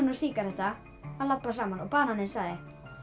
og sígaretta að labba saman og bananinn sagði